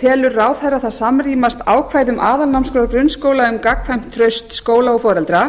telur ráðherra það samrýmast ákvæðum aðalnámskrár grunnskóla um gagnkvæmt traust skóla og foreldra